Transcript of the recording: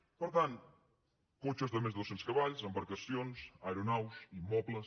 per tant cotxes de més de dos cents cavalls embarcacions aeronaus immobles